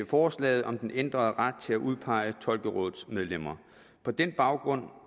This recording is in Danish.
forslaget om den ændrede ret til at udpege tolkerådets medlemmer på den baggrund